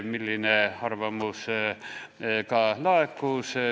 See arvamus ka laekus.